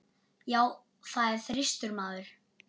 Já, það er þyrstur maður.